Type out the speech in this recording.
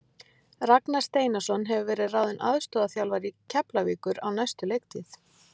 Ragnar Steinarsson hefur verið ráðinn aðstoðarþjálfari Keflavíkur á næstu leiktíð.